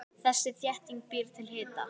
Þessi þétting býr til hita.